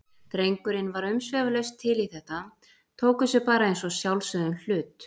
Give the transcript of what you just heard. Drengurinn var umsvifalaust til í þetta, tók þessu bara eins og sjálfsögðum hlut.